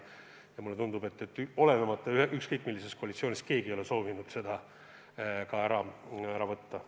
Ja mulle tundub, et olenemata koalitsiooni koosseisust ei ole soovitud seda muuta.